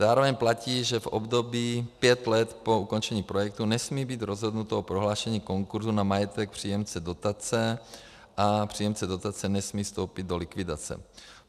Zároveň platí, že v období pět let po ukončení projektu nesmí být rozhodnuto o prohlášení konkurzu na majetek příjemce dotace a příjemce dotace nesmí vstoupit do likvidace.